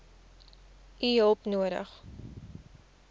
u hulp nodig